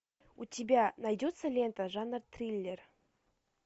у тебя найдется лента жанр триллер